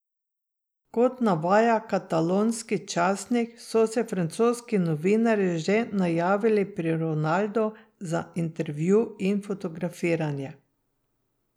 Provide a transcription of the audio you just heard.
Kot navaja katalonski časnik so se francoski novinarji že najavili pri Ronaldu za intervju in fotografiranje.